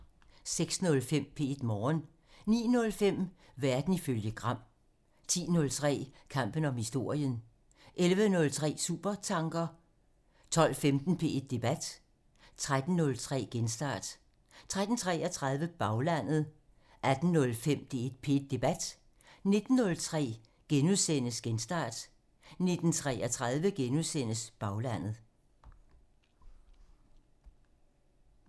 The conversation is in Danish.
06:05: P1 Morgen (Afs. 247) 09:05: Verden ifølge Gram (Afs. 40) 10:03: Kampen om historien (Afs. 14) 11:03: Supertanker (Afs. 40) 12:15: P1 Debat (Afs. 150) 13:03: Genstart (Afs. 173) 13:33: Baglandet (Afs. 45) 18:05: P1 Debat (Afs. 150)* 19:03: Genstart (Afs. 173)* 19:33: Baglandet (Afs. 45)*